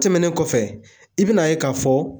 Tɛmɛnen kɔfɛ i bɛ n'a ye k'a fɔ